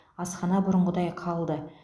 асхана бұрынғыдай қалды